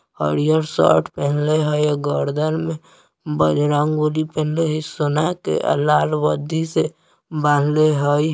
हरियर शर्ट पेन्हले हई अ गर्दन में बजरंगबली पेन्हले हई सोना के अ लाल बद्धी से बांधले हई ।